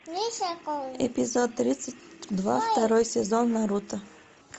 эпизод тридцать два второй сезон наруто